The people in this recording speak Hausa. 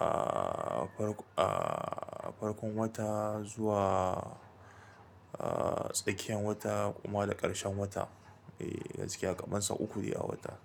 ah, farkon wata zuwa, ah, tsakiyan wata kuma da ƙarshen wata. Eh, gaskiya kaman sau uku dai a wata.